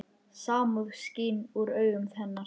Samúð skín úr augum hennar.